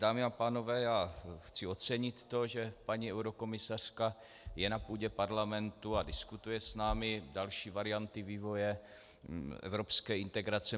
Dámy a pánové, já chci ocenit to, že paní eurokomisařka je na půdě Parlamentu a diskutuje s námi další varianty vývoje evropské integrace.